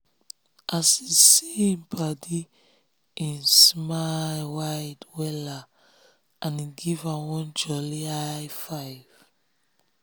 as he see him paddyhim smile wide wella and he give am one jolly high -five.